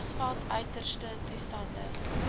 grasveld uiterste toestande